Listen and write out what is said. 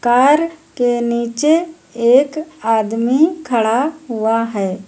Car के नीचे एक आदमी खड़ा हुआ है।